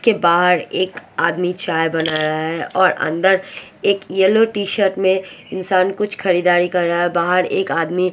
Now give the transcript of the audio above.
के बहार एक आदमी चाय बना रहा है और अनदर एक येलो टीशर्ट में इंसान कुछ खरीदारी कर रहा है बहार एक आदमी फ़े कलर --